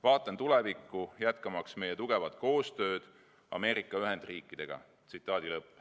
Vaatan tulevikku, jätkamaks meie tugevat koostööd Ameerika Ühendriikidega.